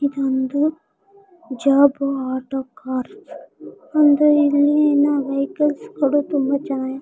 ಇದೊಂದು job auto car ಅಂದ್ರೆ ಇಲ್ಲಿ ಏನೋ ವೆಹಿಕಲ್ಸ್ .